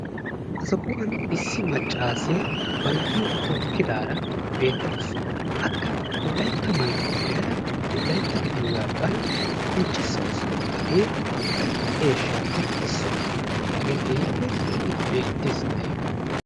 Ha sohuwan issi maccaasiya ba na"iyo tookkidaara beettawusu. Akka wolaytta maayuwa maayada wolaytta gidiyooga bana qonccissawusu. Hagee wolaytta eeshshaappe issuwa hagee keehippe lo"idi beettes taayyo.